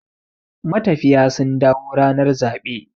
matafiya sun dawo ranar zaɓe